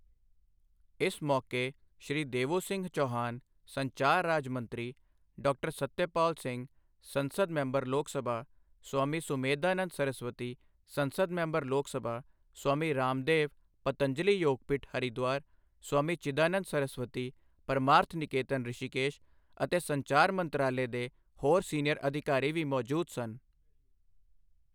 ਇਸ ਮੌਕੇ ਸ਼੍ਰੀ ਦੇਵੂਸਿੰਹ ਚੌਹਾਨ, ਸੰਚਾਰ ਰਾਜ ਮੰਤਰੀ, ਡਾ. ਸਤਿਆ ਪਾਲ ਸਿੰਘ, ਸੰਸਦ ਮੈਂਬਰ ਲੋਕ ਸਭਾ, ਸਵਾਮੀ ਸੁਮੇਧਾਨੰਦ ਸਰਸਵਤੀ, ਸੰਸਦ ਮੈਂਬਰ ਲੋਕ ਸਭਾ, ਸਵਾਮੀ ਰਾਮਦੇਵ, ਪਤੰਜਲੀ ਯੋਗਪੀਠ, ਹਰਿਦੁਆਰ, ਸਵਾਮੀ ਚਿਦਾਨੰਦ ਸਰਸਵਤੀ, ਪਰਮਾਰਥ ਨਿਕੇਤਨ, ਰਿਸ਼ੀਕੇਸ਼ ਅਤੇ ਸੰਚਾਰ ਮੰਤਰਾਲੇ ਦੇ ਹੋਰ ਸੀਨੀਅਰ ਅਧਿਕਾਰੀ ਵੀ ਮੌਜੂਦ ਸਨ।